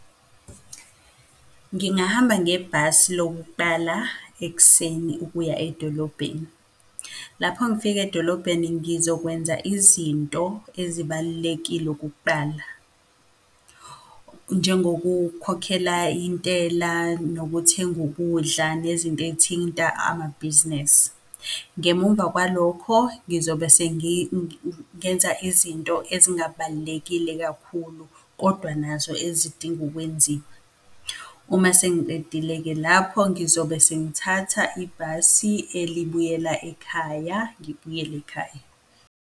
Ngingahamba ngebhasi lokuqala ekuseni ukuya edolobheni. Lapho ngifika edolobheni ngizokwenza izinto ezibalulekile ukuqala, njengokukhokhela intela, nokuthenga ukudla, nezinto ey'thinta amabhizinesi. Ngemumva kwalokho ngizobe ngenza izinto ezingabalulekile kakhulu, kodwa nazo ezidinga ukwenziwa. Uma sengiqedile-ke lapho ngizobe sengithatha ibhasi elibuyela ekhaya, ngibuyele ekhaya.